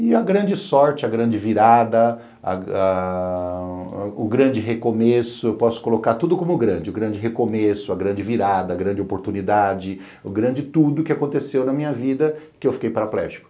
E a grande sorte, a grande virada, ah o grande recomeço, posso colocar tudo como grande, o grande recomeço, a grande virada, a grande oportunidade, o grande tudo que aconteceu na minha vida que eu fiquei paraplégico.